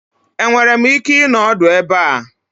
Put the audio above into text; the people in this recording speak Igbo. Enwere m ike ịnọ ọdụ ebe a?